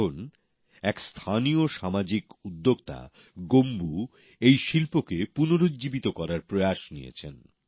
এখন এক স্থানীয় সামাজিক উদ্যোক্তা গোম্বু এই শিল্পকে পুনরুজ্জীবিত করার প্রয়াস করেছেন